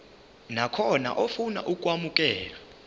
nakhona ofuna ukwamukelwa